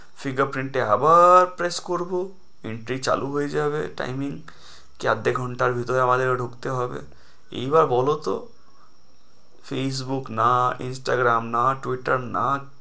Finger print এ আবার press করবো entry চালু হয়ে যাবে timing কি আধা ঘন্টার ভিতরে আমাদেরও ঢুকতে হবে এইবার বলোতো ফেইসবুক না ইনস্টাগ্রাম না টুইটার না,